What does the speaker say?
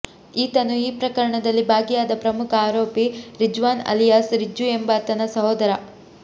ಈತನು ಈ ಪ್ರಕರಣದಲ್ಲಿ ಭಾಗಿಯಾದ ಪ್ರಮುಖ ಆರೋಪಿ ರಿಜ್ವಾನ್ ಅಲಿಯಾಸ್ ರಿಜ್ಜು ಎಂಬಾತನ ಸಹೋದರ